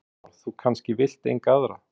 Kristján Már: Þú kannski vilt enga aðra?